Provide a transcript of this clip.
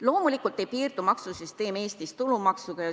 Loomulikult ei piirdu maksusüsteem Eestis tulumaksuga.